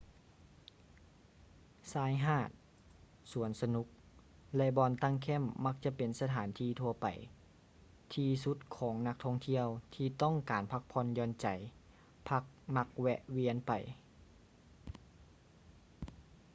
ຊາຍຫາດ ສວນສະໜຸກ ແລະ ບ່ອນຕັ້ງແຄ້ມມັກຈະເປັນສະຖານທີ່ທົ່ວໄປທີ່ສຸດຂອງນັກທ່ອງທ່ຽວທີ່ຕ້ອງການພັກຜ່ອນຢ່ອນໃຈພັກມັກແວະວຽນໄປ